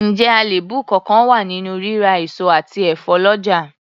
Ǹjẹ́ àléébù kánkán wà nínú rírà èso àti ẹ̀fọ́ lọ́jà?